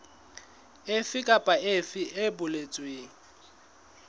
efe kapa efe e boletsweng